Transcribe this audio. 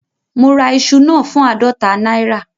Mo ra iṣu náà fún àádọta náírà